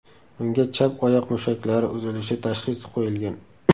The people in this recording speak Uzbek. Unga chap oyoq mushaklari uzilishi tashxisi qo‘yilgan.